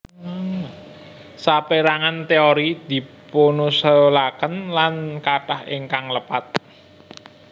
Sapérangan téori dipunusulaken lan kathah ingkang lepat